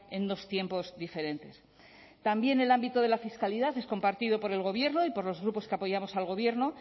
en dos tiempos diferentes también el ámbito de la fiscalidad es compartido por el gobierno y por los grupos que apoyamos al gobierno